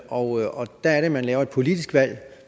og der er det at man laver et politisk valg